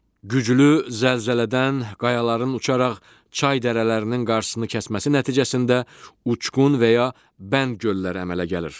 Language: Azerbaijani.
Güclü zəlzələdən qayaların uçaraq çay dərələrinin qarşısını kəsməsi nəticəsində uçqun və ya bənd gölləri əmələ gəlir.